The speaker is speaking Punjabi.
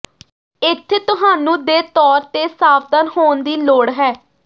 ਇੱਥੇ ਤੁਹਾਨੂੰ ਦੇ ਤੌਰ ਤੇ ਸਾਵਧਾਨ ਹੋਣ ਦੀ ਲੋੜ ਹੈ